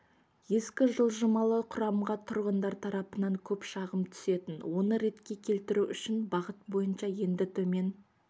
ескі жылжымалы құрамға тұрғындар тарапынан көп шағым түсетін оны ретке келтіру үшін бағыт бойынша енді төмен